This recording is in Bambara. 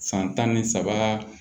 San tan ni saba